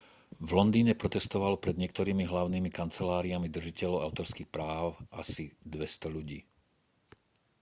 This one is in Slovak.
v londýne protestovalo pred niektorými hlavnými kanceláriami držiteľov autorských práv asi 200 ľudí